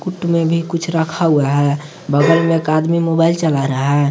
कूट में भी कुछ रखा हुआ है बगल में एक आदमी मोबाइल चला रहा है।